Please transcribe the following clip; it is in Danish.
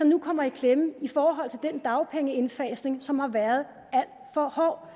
nu kommer i klemme i forhold til den dagpengeindfasning som har været alt for hård